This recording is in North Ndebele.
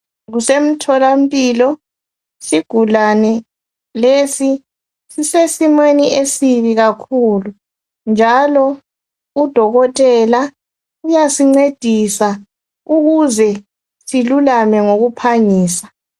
Kusemtholampilo. Isigulane lesi sisesimweni esibi kakhulu njalo udokotela uysincedisa ukuze silulame ngokuphangisa.